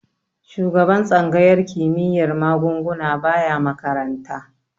Shugaban tsangayar kimiyyar magunguna baya makaranta.